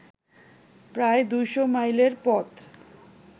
প্রায় ২০০ মাইলের পথ